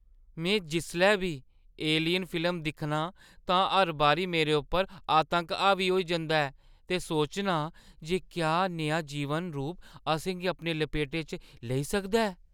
में जिसलै बी 'एलियन' फिल्म दिक्खनी आं तां हर बारी मेरे उप्पर आतंक हावी होई जंदा ऐ ते सोचनी आं जे क्या नेहा जीवन रूप असें गी अपने लपेटे च लेई सकदा ऐ।